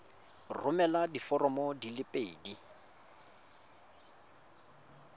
romela diforomo di le pedi